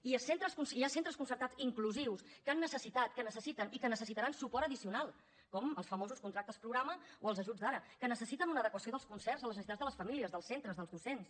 i hi ha centres concertats inclusius que han necessitat que necessiten i que necessitaran suport addicional com els famosos contractes programa o els ajuts d’ara que necessiten una adequació dels concerts a les necessitats de les famílies dels centres dels docents